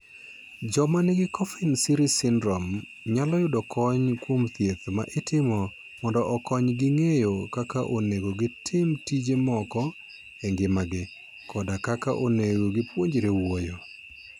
Joma nigi Coffin Siris syndrome nyalo yudo kony kuom thieth ma itimo mondo okonygi ng'eyo kaka onego gitim tije moko e ngimagi, koda kaka onego gipuonjre wuoyo.